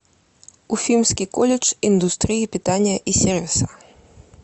уфимский колледж индустрии питания и сервиса